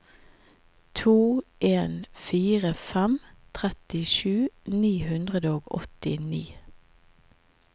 to en fire fem trettisju ni hundre og åttini